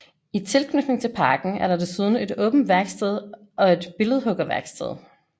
I tilknytning til parken er der desuden et åbent værksted og et billedhuggerværksted